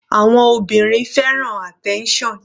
Àwọn obìnrin fẹ́ràn attention.